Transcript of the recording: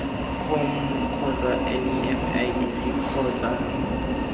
eskom kgotsa nef idc kgotsa